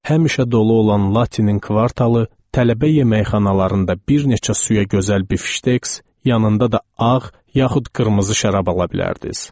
Həmişə dolu olan Latinin kvartalı tələbə yeməkxanalarında bir neçə suya gözəl bifşteks, yanında da ağ yaxud qırmızı şərab ala bilərdiniz.